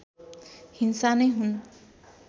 हिंसा नै हुन्